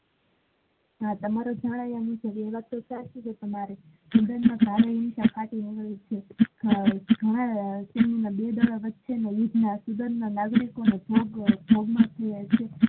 હા તમારો europe શારીરિક વળી છે તે બંને ના યુદ્ધ વચ્ચે નું નાગરિકો નો ભોગ